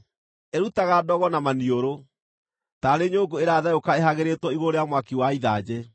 Ĩrutaga ndogo na maniũrũ taarĩ nyũngũ ĩratherũka ĩhagĩrĩtwo igũrũ rĩa mwaki wa ithanjĩ.